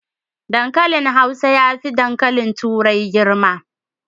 Dankalin hausa yafi dankali turai girma